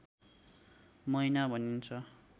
महिना भनिन्छ